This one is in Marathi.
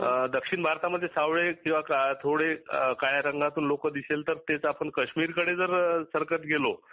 अ दक्षिण भारतामध्ये सावळे किंवा थोडे काळ्या रंगाचे लोक दिसेल तर तेच आपण कश्मिर कडे जर सरकत गेलो